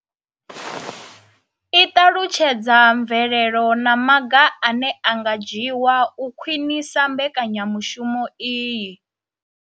I ṱalutshedza mvelelo na maga ane a nga dzhiwa u khwinisa mbekanya mushumo iyi.